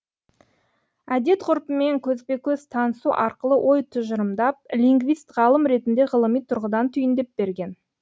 әдет ғұрпымен көзбе көз танысу арқылы ой тұжырымдап лингвист ғалым ретінде ғылыми тұрғыдан түйіндеп берген